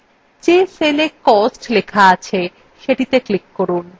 যে cellএ cost লিখিত আছে সেটিতে click করুন